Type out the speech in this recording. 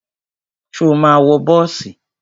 Ṣo ma wọ bọ́ọ̀sì?